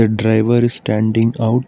a driver is standing out.